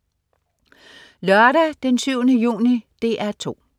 Lørdag den 7. juni - DR 2: